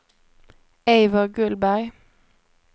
Eivor Gullberg